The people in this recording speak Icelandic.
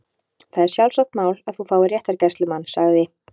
Það er sjálfsagt mál að þú fáir réttargæslumann- sagði